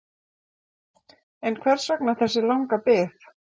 En hvers vegna þessi langa bið?